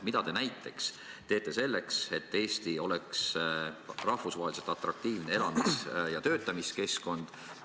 Mida te näiteks teete selleks, et Eesti oleks rahvusvaheliselt atraktiivne elamis- ja töötamiskeskkond?